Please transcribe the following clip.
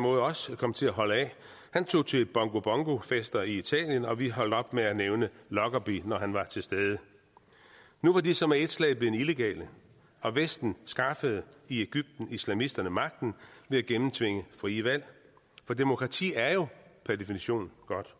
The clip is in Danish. måde også kommet til at holde af han tog til bongo bongo fester i italien og vi holdt op med at nævne lockerbie når han var til stede nu var de så med et slag blevet illegale og vesten skaffede i egypten islamisterne magten ved at gennemtvinge frie valg for demokrati er jo per definition godt